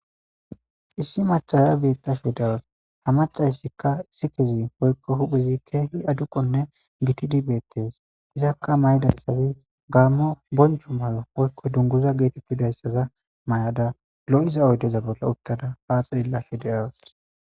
issi machaya beetta fi dawas ha macayssikka issi kezi hoykko huphizi keehi aduqonne gitidibeettes izakka maydassazi gaammo bonju mayo oykko dunguza geetettu dayssaza may7ada lo7iza oydeza bolla uttada haa xeella fi de7awos